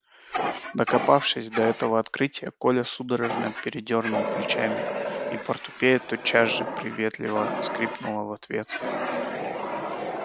докопавшись до этого открытия коля судорожно передёрнул плечами и портупея тотчас же приветливо скрипнула в ответ